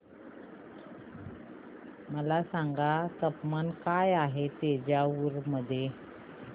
मला सांगा तापमान काय आहे तंजावूर मध्ये